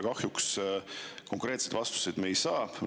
Kahjuks konkreetseid vastuseid me pole saanud.